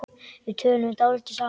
Við töluðum dálítið saman.